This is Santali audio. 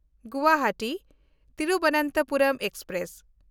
ᱜᱩᱣᱟᱦᱟᱴᱤ–ᱛᱤᱨᱩᱵᱚᱱᱛᱚᱯᱩᱨᱚᱢ ᱮᱠᱥᱯᱨᱮᱥ